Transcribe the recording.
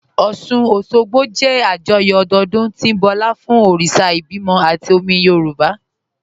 Ọ́ṣun-Òṣogbo jẹ́ àjọyọ̀ ọdọọdún tí ń bọlá fún òrìṣà ìbímọ àti omi Yorùb